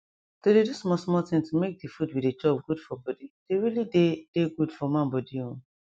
to dey do small small tin to make de food we dey chop good for body dey really dey dey good for man body o